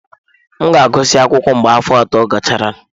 M ga-agụsị akwụkwọ mgbe afọ ato gachara.